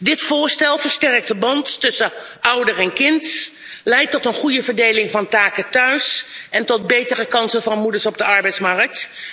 Dit voorstel versterkt de band tussen ouder en kind, leidt tot een goeie verdeling van taken thuis en tot betere kansen van moeders op de arbeidsmarkt.